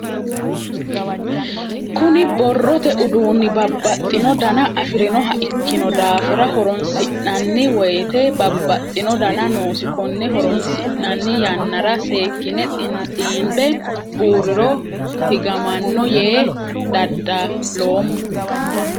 Kunni borrote uduunni babbaxino danna afirinoha ikino daafira horoonsi'nanni woyite babbaxino danna noosi konne horoonsi'nanni yannara seekine xiinbe buuriro higamano yee dadaloomo.